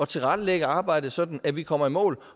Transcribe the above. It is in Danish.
tilrettelægge arbejdet sådan at vi kommer i mål